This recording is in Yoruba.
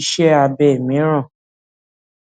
iṣẹ abẹ miiran